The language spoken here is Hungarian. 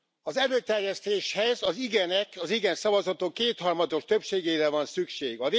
Az előterjesztéshez az igenek, az igen szavazatok kétharmados többségére van szükség.